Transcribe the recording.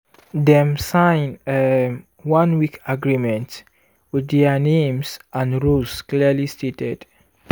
dem sign um one-week agreement with their names and roles clearly stated.